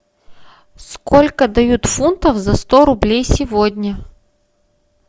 сколько дают фунтов за сто рублей сегодня